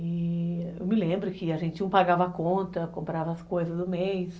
E eu me lembro que a gente um pagava a conta, comprava as coisas do mês.